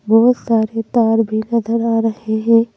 बहुत सारे तार भी नजर आ रहे हैं।